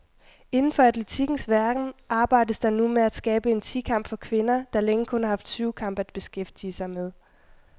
Inden for atletikkens verden arbejdes der nu med at skabe en ti kamp for kvinder, der længe kun har haft syvkamp at beskæftige med.